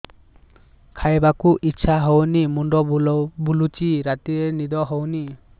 ଖାଇବାକୁ ଇଛା ହଉନି ମୁଣ୍ଡ ବୁଲୁଚି ରାତିରେ ନିଦ ହଉନି